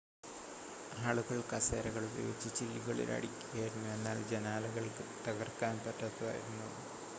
ആളുകൾ കസേരകൾ ഉപയോഗിച്ച് ചില്ലുകളിൽ അടിക്കുകയായിരുന്നു എന്നാൽ ജനാലകൾ തകർക്കാൻ പറ്റാത്തതായിരുന്നു